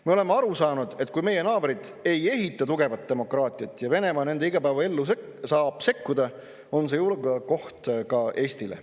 Me oleme aru saanud, et kui meie naabrid ei ehita tugevat demokraatiat ja Venemaa nende igapäevaellu saab sekkuda, on see julgeolekuoht ka Eestile.